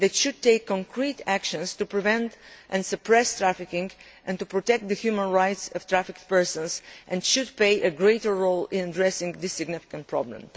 They should take concrete actions to prevent and suppress trafficking and to protect the human rights of trafficked persons, and should play a greater role in addressing this significant problem.